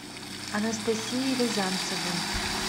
анастасии рязанцевой